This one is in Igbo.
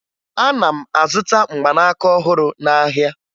Ana m azụta mgbanaka ọhụrụ n'ahịa